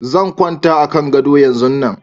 Zan kwanta a kan gado yanzun nan